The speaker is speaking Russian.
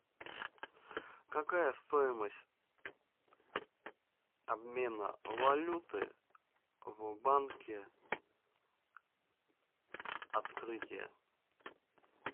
какая стоимость обмена валюты в банке открытие